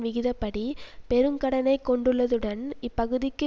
விகிதப்படி பெரும் கடனை கொண்டுள்ளதுடன் இப்பகுதிக்கு